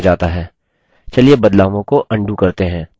चलिए बदलावों को अन्डू करते हैं